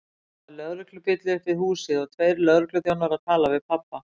Það var lögreglubíll upp við húsið og tveir lögregluþjónar að tala við pabba!